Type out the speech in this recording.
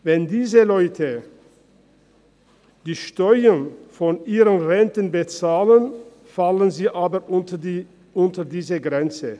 Wenn diese Leute die Steuern von ihren Renten bezahlen, fallen sie aber unter diese Grenze.